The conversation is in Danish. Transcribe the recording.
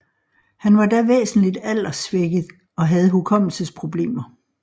Han var da væsentligt alderssvækket og havde hukommelsesproblemer